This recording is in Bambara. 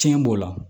Tiɲɛ b'o la